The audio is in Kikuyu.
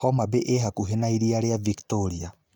Homa Bay ĩĩ hakuhĩ na iria rĩa Victoria.